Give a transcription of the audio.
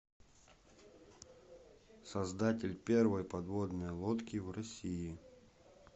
создатель первой подводной лодки в россии